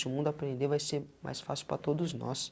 Se o mundo aprender, vai ser mais fácil para todos nós.